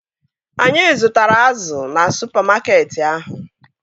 Anyị zụtara azụ na supamakeetị ahụ